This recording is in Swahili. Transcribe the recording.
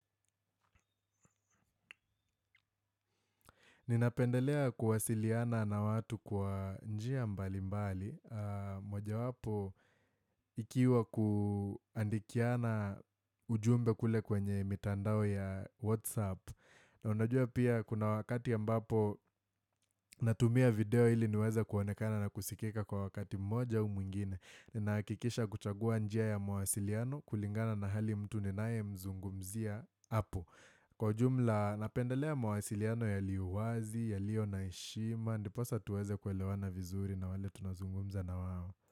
Ninapendelea kuwasiliana na watu kwa njia mbali mbali, moja wapo ikiwa kuandikiana ujumbe kule kwenye mitandao ya WhatsApp. Na unajua pia kuna wakati ya mbapo natumia video ili niweze kuonekana na kusikika kwa wakati moja au mwingine. Ninahakikisha kuchagua njia ya mwasiliano kulingana na hali mtu ninae mzungumzia hapo. Kwa ujumla, napendelea mawasiliano yaliyo wazi, yaliyo naheshima Ndiposa tuweze kuelewa na vizuri na wale tunazungumza na wawo.